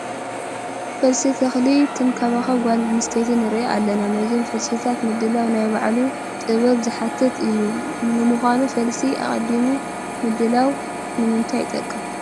ፈልሲ ተኽሊ ትንከባኸብ ጓል አነስተይቲ ንርኢ ኣለና፡፡ ነዞም ፈልስታት ምድላው ናይ ባዕሉ ጥበብ ዝሓትት እዩ፡፡ ንምዃኑ ፈልሲ ኣቐዲሙ ምድላዉ ንምንታይ ይጠቅም?